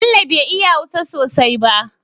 Bello be iya hausa sosai ba